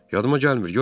yadıma gəlmir,